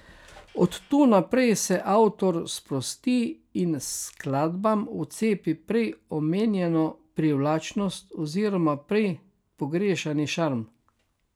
Od tu naprej se avtor sprosti in skladbam vcepi prej omenjeno privlačnost oziroma prej pogrešani šarm.